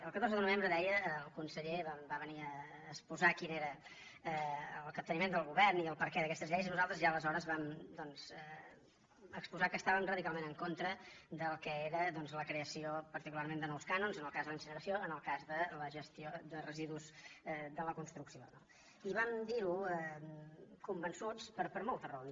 el catorze de novembre deia el conseller va venir a expo· sar quin era el capteniment del govern i el perquè d’aques· tes lleis i nosaltres ja aleshores vam exposar que està·vem radicalment en contra del que era doncs la creació particularment de nous cànons en el cas de la incine·ració en el cas de la gestió de residus de la construc·ció no i vam dir·ho convençuts per moltes raons